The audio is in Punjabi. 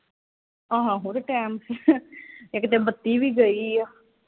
ਆਹੋ ਤੇ time ਇਕ ਤੇ ਬੱਤੀ ਵੀ ਗਈ ਆ